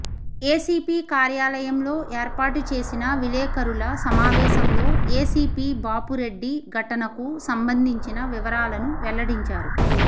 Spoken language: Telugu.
ఏసీపీ కార్యాలయంలో ఏర్పాటు చేసిన విలేకరుల సమావేశంలో ఏసీపీ బాపురెడ్డి ఘటనకు సంబంధించిన వివరాలను వెల్లడించారు